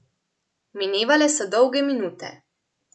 Minevale so dolge minute.